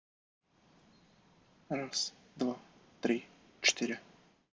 раз-два-три-четыре